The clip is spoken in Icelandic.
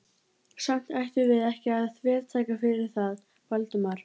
Samt ættum við ekki að þvertaka fyrir það, Valdimar.